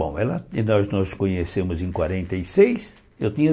Bom, ela nós nos conhecemos em quarenta e seis, eu tinha